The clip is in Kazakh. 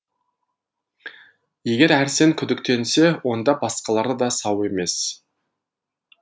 егер әрсен күдіктенсе онда басқалары да сау емес